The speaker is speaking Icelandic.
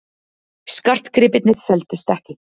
Skartgripirnir seldust ekki